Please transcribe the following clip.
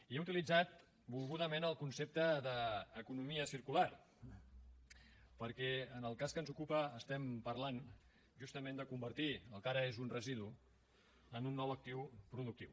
jo he utilitzat volgudament el concepte d’ economia circular perquè en el cas que ens ocupa estem parlant justament de convertir el que ara és un residu en un nou actiu productiu